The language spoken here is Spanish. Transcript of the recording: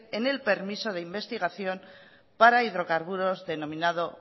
en el permiso de investigación para hidrocarburos denominado